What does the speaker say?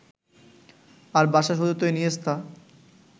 আর Barca সতীর্থ Iniesta